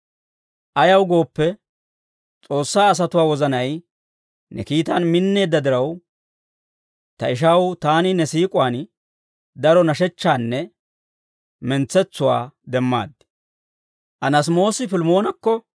Ayaw gooppe, S'oossaa asatuwaa wozanay ne kiitaan minneedda diraw, ta ishaw, taani ne siik'uwaan daro nashechchaanne mentsetsuwaa demmaad.